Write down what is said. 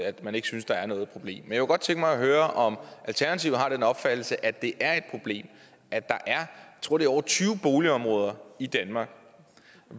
at man ikke synes der er noget problem jeg kunne godt tænke mig at høre om alternativet har den opfattelse at det er et problem at der er tror jeg over tyve boligområder i danmark